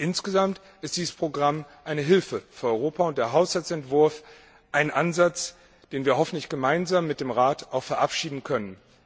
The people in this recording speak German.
Insgesamt ist dieses Programm eine Hilfe für Europa und der Haushaltsentwurf ein Ansatz, den wir hoffentlich gemeinsam mit dem Rat auch verabschieden können.